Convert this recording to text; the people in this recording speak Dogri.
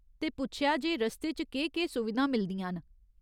ते पुच्छेआ जे रस्ते च केह्‌‌ केह्‌‌ सुविधां मिलदियां न।